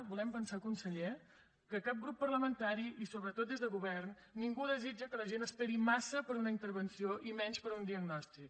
volem pensar conseller que cap grup parlamentari i sobretot des de govern ningú desitja que la gent esperi massa per a una intervenció i menys per a un diagnòstic